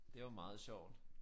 Det var meget sjovt